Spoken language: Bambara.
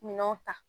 Minɛnw ta